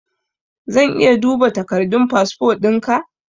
Zan iya duba takardun fasfo ɗinka?